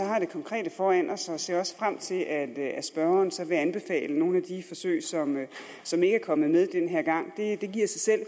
har det konkrete foran os og jeg ser også frem til at at spørgeren så vil anbefale nogle af de forsøg som ikke er kommet med den her gang det giver sig selv